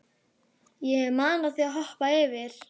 Ég mana þig að hoppa yfir.